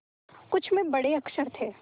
कुछ में बड़े अक्षर थे